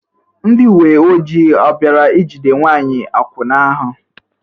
Ndị uwe ojii ọ̀ bịara ijide nwanyị akwụna ahụ?